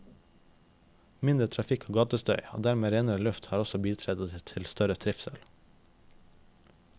Mindre trafikk og gatestøy og dermed renere luft har også bidratt til større trivsel.